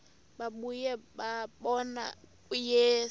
babuye bambone uyise